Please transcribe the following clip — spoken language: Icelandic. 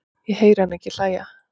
Ég heyri hana ekki hlæja